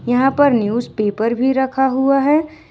यहां पर newspaper भी रखा हुआ है।